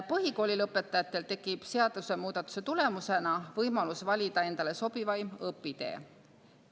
Põhikoolilõpetajatel tekib seadusemuudatuse tulemusena võimalus valida endale sobivaim õpitee.